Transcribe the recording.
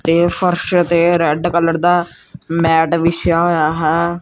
ਤੇ ਫ਼ਰਸ਼ ਤੇ ਰੈੱਡ ਕਲਰ ਦਾ ਮੈਟ ਵਿਛਿਆ ਹੋਇਆ ਹੈ।